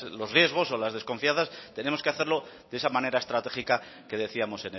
los riesgos o las desconfianzas tenemos que hacerlo de esa manera estratégica que decíamos